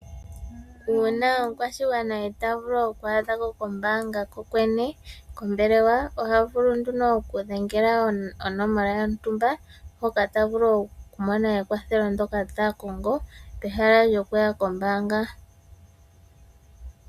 Uuna omukwashigwana itaa vulu okwaadha ko kombaanga kokwene , kombelewa ohavulu nduno okudhengela onomola yontumba, hoka tavulu okumona nekwathelo ndyoka takongo pehala lyokuya kombaanga.